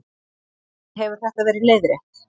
Hefur þetta verið leiðrétt